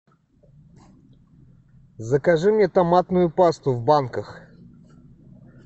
закажи мне томатную пасту в банках